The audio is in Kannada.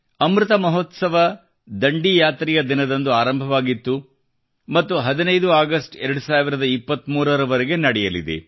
ಅಮೃತ ಮಹೋತ್ಸವ ದಂಡಿಯಾತ್ರೆಯ ದಿನದಂದು ಆರಂಭವಾಗಿತ್ತು ಮತ್ತು 15 ಆಗಸ್ಟ್ 2023 ರವರೆಗೆ ನಡೆಯಲಿದೆ